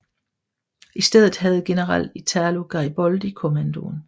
I stedet havde general Italo Gariboldi kommandoen